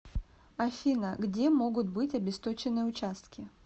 афина где могут быть обесточенные участки